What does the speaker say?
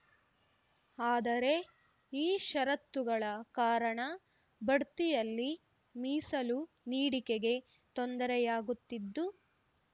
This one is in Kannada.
ಆದರೆ ಈ ಷರತ್ತುಗಳ ಕಾರಣ ಬಡ್ತಿಯಲ್ಲಿ ಮೀಸಲು ನೀಡಿಕೆಗೆ ತೊಂದರೆಯಾಗುತ್ತಿದ್ದು